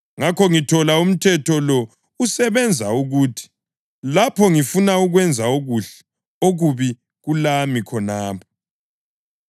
Ngakho ngithola umthetho lo usebenza ukuthi: Lapho ngifuna ukwenza okuhle, okubi kulami khonapho.